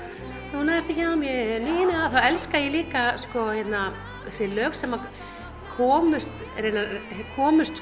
núna ertu hjá mér Nína þá elska ég líka þessi lög sem komust komust